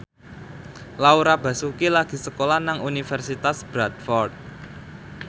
Laura Basuki lagi sekolah nang Universitas Bradford